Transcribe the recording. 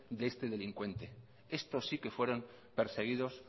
de este delincuente estos sí que fueron perseguidos